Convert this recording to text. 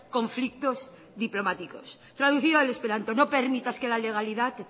conflictos diplomáticos traducido al esperanto no permitas que la legalidad